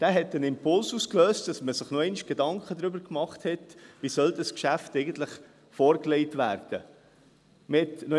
Er löste den Impuls aus, dass man sich noch einmal Gedanken darüber machte, wie dieses Geschäft eigentlich vorgelegt werden soll.